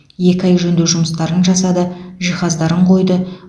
екі ай жөндеу жұмыстарын жасады жиһаздарын қойды